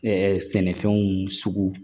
Ɛɛ sɛnɛfɛnw sugu